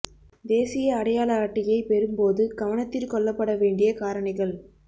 தேசிய அடையாள அட்டையை பெறும் போது கவனத்திற் கொள்ளப்பட வேண்டிய காரணிகள்